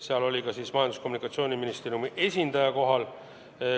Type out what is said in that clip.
Seal oli kohal ka Majandus- ja Kommunikatsiooniministeeriumi esindaja.